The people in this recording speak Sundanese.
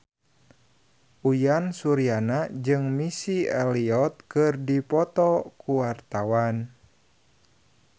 Uyan Suryana jeung Missy Elliott keur dipoto ku wartawan